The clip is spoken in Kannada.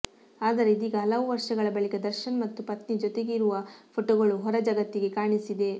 ಆದರೆ ಇದೀಗ ಹಲವು ವರ್ಷಗಳ ಬಳಿಕ ದರ್ಶನ್ ಮತ್ತು ಪತ್ನಿ ಜೊತೆಗಿರುವ ಫೋಟೋಗಳು ಹೊರ ಜಗತ್ತಿಗೆ ಕಾಣಿಸಿದೆ